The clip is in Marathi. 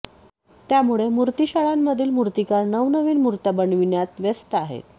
त्यामुळे मूर्ती शाळांमधील मूर्तिकार नवनवीन मूर्त्या बनविण्यात व्यस्त आहेत